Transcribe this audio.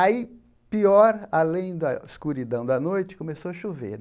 Aí, pior, além da escuridão da noite, começou a chover.